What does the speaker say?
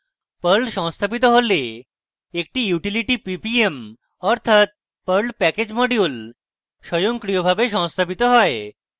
perl সংস্থাপিত হলে একটি utility ppm অর্থাৎ perl package module স্বয়ংক্রিয়ভাবে সংস্থাপিত হয়